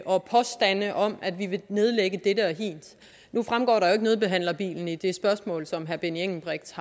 og påstande om at vi vil nedlægge dette og hint nu fremgår der jo ikke nødbehandlerbilen i det spørgsmål som herre benny engelbrecht